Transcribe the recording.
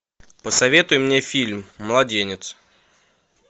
посоветуй мне фильм младенец